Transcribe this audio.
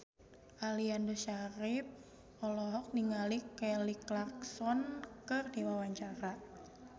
Aliando Syarif olohok ningali Kelly Clarkson keur diwawancara